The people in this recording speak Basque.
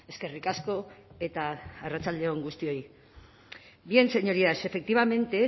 eskerrik asko eta arratsalde on guztioi bien señorías efectivamente